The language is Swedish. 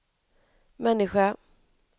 människa